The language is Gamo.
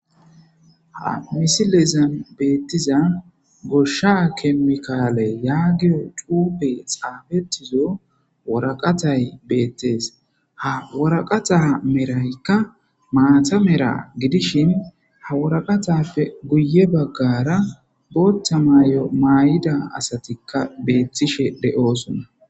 Ha misilezan beettiza goshsha kemikaale yaagiyo cuupe xaabetizo woraqatay beettees ha woraqataa meraykka maata mera gidishin ha woraqatappe guye baggara booththa maayo maay'ida asatikka beettishe de'oosona.